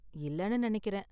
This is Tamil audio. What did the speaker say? இல்லனு நெனைக்கிறேன்.